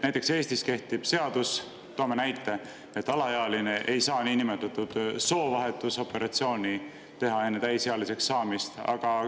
Näiteks, Eestis kehtiva seaduse kohaselt – toon näite – ei saa alaealine teha soovahetusoperatsiooni enne täisealiseks saamist.